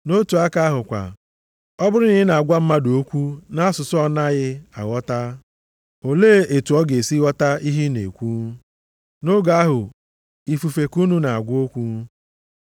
Nʼotu aka ahụ kwa, ọ bụrụ na ị na-agwa mmadụ okwu nʼasụsụ ọ na-adịghị anụ, olee otu ọ ga-esi ghọta ihe ị na-ekwu? Nʼoge ahụ, ifufe ka unu na-agwa okwu.